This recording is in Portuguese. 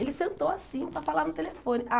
Ele sentou assim para falar no telefone.